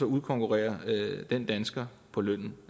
udkonkurrerer den dansker på lønnen